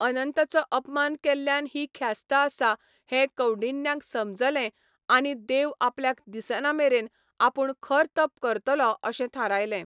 अनंत चो अपमान केल्ल्यान ही ख्यास्त आसा हें कौंडिन्याक समजलें आनी देव आपल्याक दिसना मेरेन आपूण खर तप करतलों अशें थारायलें.